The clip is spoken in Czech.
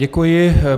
Děkuji.